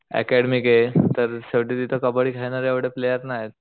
अकॅडमीके तर शेवटी तिथे कबड्डी खेळणारे एवढे प्लेअर नाहीयेत